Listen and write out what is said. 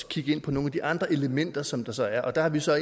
kigge ind på nogle af de andre elementer som der så er der har vi så